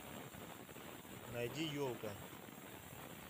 найди елка